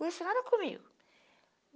nada comigo.